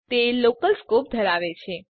તે local scope ધરાવે છે